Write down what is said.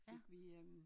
Fik vi øh